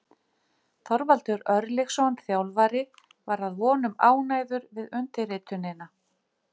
Þorvaldur Örlygsson þjálfari var að vonum ánægður við undirritunina.